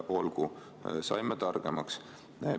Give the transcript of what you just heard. Olgu, saime targemaks.